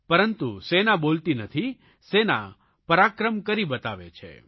પરંતુ સેના બોલતી નથી સેના પરાક્રમ કરી બતાવે છે